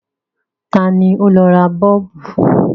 Ta ni ó lọ ra Bọ́ọ̀bù?